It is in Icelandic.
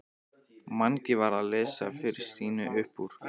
Mangi var að lesa fyrir Stínu upp úr